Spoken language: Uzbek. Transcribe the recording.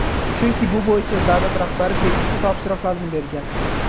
Chunki bu bo‘yicha davlat rahbari tegishli topshiriqlarni bergan.